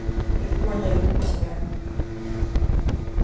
пивко я иду к тебе